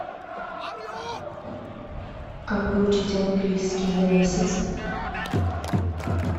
как выучить английский за месяц